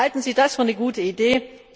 Halten Sie das für eine gute Idee?